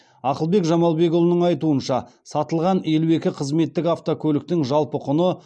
ақылбек жамалбекұлының айтуынша сатылған елу екі қызметтік автокөліктің жалпы құны